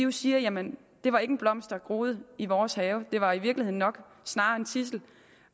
vi siger jamen det var ikke en blomst der er groet i vores have det var i virkeligheden nok snarere en tidsel